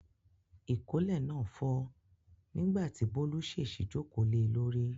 Ìkọ́lé náà fọ́ nígbà tí Bólú ṣèṣì jókòó le lórí.